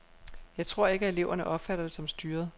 Jeg tror ikke, at eleverne opfatter det som styret.